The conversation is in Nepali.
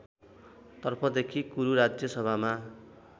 तर्फदेखि कुरुराज्य सभामा